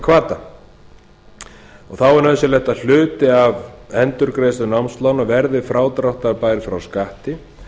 námslokahvata þá er nauðsynlegt að hluti af endurgreiðslu námslána verði frádráttarbær frá skatti